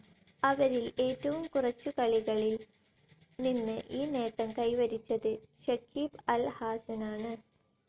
അവരിൽ ഏറ്റവും കുറച്ചു കളികളിൽ നിന്ന് ഈ നേട്ടം കൈവരിച്ചത് ഷക്കീബ് അൽ ഹാസനാണ്.